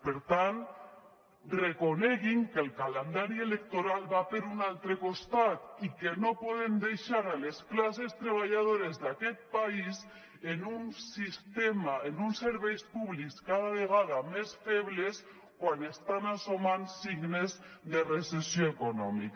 per tant reconeguin que el calendari electoral va per un altre costat i que no podem deixar les classes treballadores d’aquest país en un sistema amb uns serveis públics cada vegada més febles quan estan apareixent signes de recessió econòmica